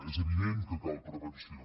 és evident que cal prevenció